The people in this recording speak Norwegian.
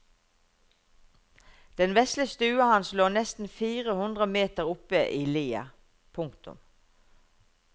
Den vesle stua hans lå nesten fire hundre meter oppe i lia. punktum